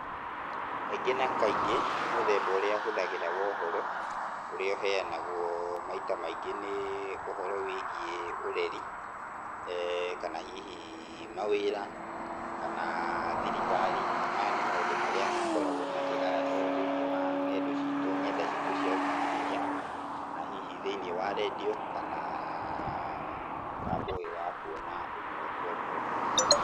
Kaingĩ na kaingĩ, mũthemba ũrĩa hũthagĩra wa ũhoro ũrĩa ũheanagwo maita maingĩ nĩ ũhoro wĩgiĩ ũreri, kana hihi mawĩra, kana thirikari, maya nĩ maũndũ marĩa makoragwo makĩgayanwo thĩiniĩ wa nendo citũ nenda citu cia ũkinyanĩria, na hihi thĩiniĩ wa radio kana mũtambo ũyũ wa kuona ũmwe kwa ĩmwe.